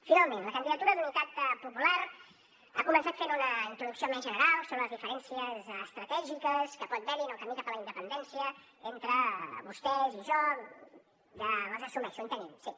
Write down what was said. finalment la candidatura d’unitat popular ha començat fent una introducció més general sobre les diferències estratègiques que pot haver hi en el camí cap a la independència entre vostès i jo ja les assumeixo en tenim sí